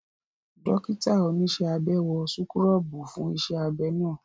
Dókítà oníṣẹ́ abẹ wọ súkúrọ́bù fún iṣẹ́ abẹ́ ná